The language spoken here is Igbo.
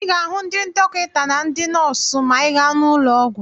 Ị ga-ahụ ndị dọkịta na ndị nọọsụ ma ị gaa n'ụlọ ọgwụ.